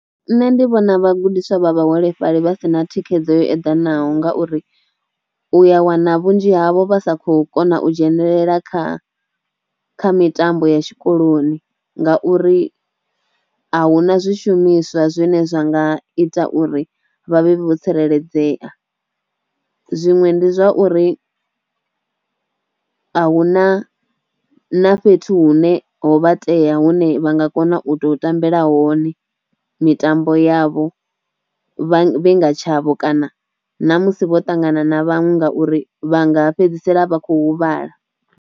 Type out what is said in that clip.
Nṋe ndi vhona vhagudiswa vha vhaholefhali vha si na thikhedzo yo eḓanaho ngauri u ya wana vhunzhi havho vha sa khou kona u dzhenelela kha kha mitambo ya tshikoloni ngauri a hu na zwishumiswa zwine zwa nga ita uri vha vhe vho tsireledzea, zwiṅwe ndi zwa uri a hu na na fhethu hune ho vha tea hune vha nga kona u to tambela hone mitambo yavho vha vhenga tshavho kana na musi vho ṱangana na vhaṅwe ngauri vha nga fhedzisela vha kho huvhala.